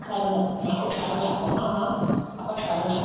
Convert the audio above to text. ਛਾਣਨਾ ਹਾਂ ਉਹ ਛਾਣਨਾ ਆਪਾਂ ਹਾਂ ਹਾਂ ਆਪਾਂ ਛਾਣਨਾ